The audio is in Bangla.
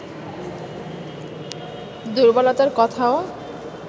দুর্বলতার কথাও